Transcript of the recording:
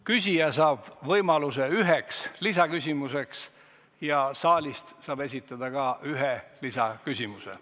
Küsija saab võimaluse üheks lisaküsimuseks ja ka saalist saab esitada ühe lisaküsimuse.